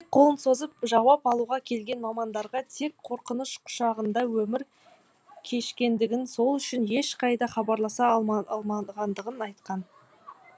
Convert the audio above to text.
көмек қолын созып жауап алуға келген мамандарға тек қорқыныш құшағында өмір кешкендігін сол үшін ешқайда хабарласа алмағандығын айтқан